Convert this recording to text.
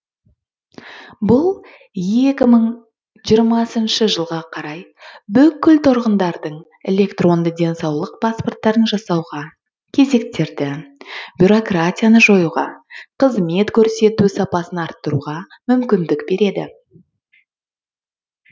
бұл екі мың жиырмасыншы жылға қарай бүкіл тұрғындардың электронды денсаулық паспорттарын жасауға кезектерді бюрократияны жоюға қызмет көрсету сапасын арттыруға мүмкіндік береді